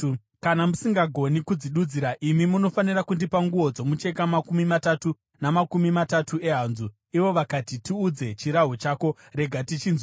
Kana musingagoni kudzidudzira, imi munofanira kundipa nguo dzomucheka makumi matatu namakumi matatu ehanzu.” Ivo vakati, “Tiudze chirahwe chako. Rega tichinzwe.”